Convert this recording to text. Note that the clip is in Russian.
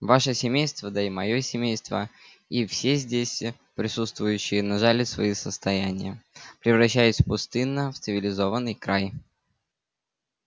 ваше семейство да и моё семейство и все здесь присутствующие нажали свои состояния превращаясь пустынно в цивилизованный край